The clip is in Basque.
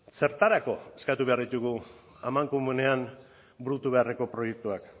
zertarako eskatu behar ditugu amankomunean burutu beharreko proiektuak